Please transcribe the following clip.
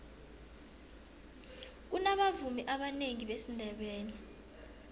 kunabavumi abanengi besindebele